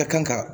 Ka kan ka